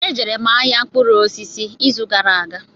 E jere m ahịa mkpụrụ osisi ịzụ gara aga.